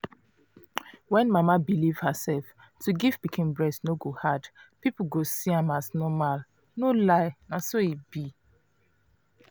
when mama believe herself to give pikin breast no go hard people go see am as normalno lie na so e be